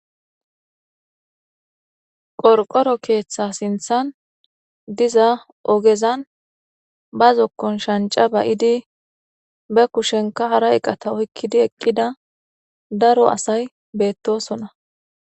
Qorqoro keeththa sinthan diza ogezan ba zokkon shanca bayidi be kushenka hara eqata oykkidi eqqida daro asay beettosona.